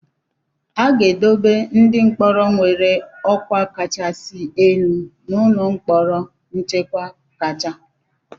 A ga-edobe ndị mkpọrọ nwere ọkwa kachasị elu n'ụlọ mkpọrọ nchekwa kacha.